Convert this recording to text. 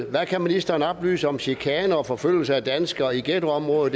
hvad kan ministeren oplyse om chikane og forfølgelse af danskere i ghettoområder